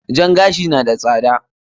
Jan gashi na da tsada.